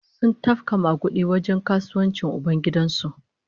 Sun tafka magudi a wajen kasuwancin ubangidan su